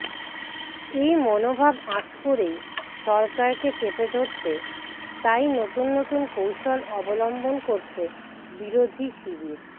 এই মনোভাব আঁচ করেই সরকারকে চেপে ধরতে তাই নতুন নতুন কৌশল অবলম্বন করছে বিরোধী শিবির